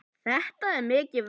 Þetta er mikið verk.